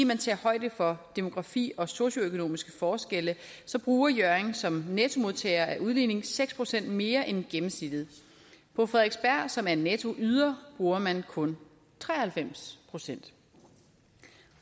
man tager højde for demografi og socioøkonomiske forskelle bruger hjørring som nettomodtager af udligningen seks procent mere end gennemsnittet på frederiksberg som er en nettoyder bruger man kun tre og halvfems procent